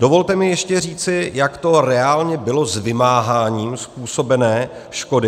Dovolte mi ještě říci, jak to reálně bylo s vymáháním způsobené škody.